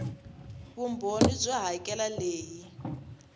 vumbhoni byo hakela r leyi